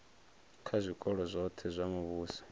kha zwikolo zwoṱhe zwa muvhuso